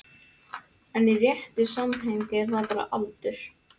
En í réttu samhengi er það bara aldur.